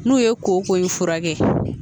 N'u ye kooko in furakɛ